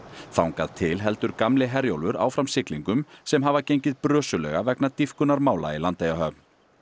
þangað til heldur gamli Herjólfur áfram siglingum sem hafa gengið brösulega vegna í Landeyjahöfn